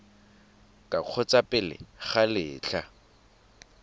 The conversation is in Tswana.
ka kgotsa pele ga letlha